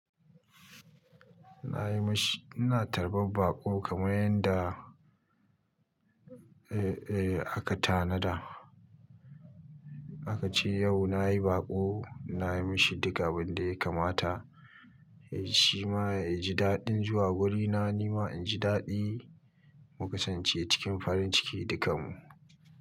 Ina yi mashi, ina tarbar baƙo kamar yanda, eh, eh aka tanada. Aka ce yau na yi baƙo, na yi mashi duka abin da ya kamata. Eh shi ma ya ji daɗin zuwa guri, na nima inji daɗi muka sance cikin farin ciki dukanmu.